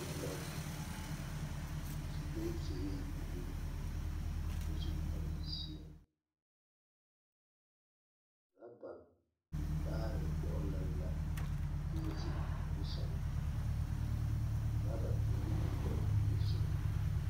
Neԑ la zeŋ su bonsuure buluu kyԑ su kpare zeԑ, orͻba vaare dͻgelͻ la daŋkyini zu o puori sԑŋԑ, oraba peԑle biŋi la o nimisogͻ.